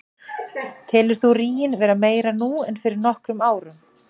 Telur þú ríginn vera meiri nú en fyrir nokkrum árum?